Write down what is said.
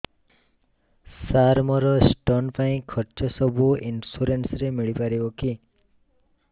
ସାର ମୋର ସ୍ଟୋନ ପାଇଁ ଖର୍ଚ୍ଚ ସବୁ ଇନ୍ସୁରେନ୍ସ ରେ ମିଳି ପାରିବ କି